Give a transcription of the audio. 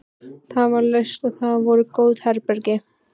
Það var laust og þar voru góð herbergi.